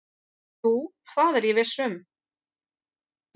"""Jú, það er ég viss um."""